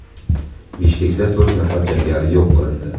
Bishkekda to‘rt nafar jangari yo‘q qilindi.